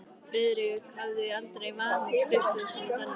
Friðrik hafði aldrei vanist skrifstofu sinni í dalnum.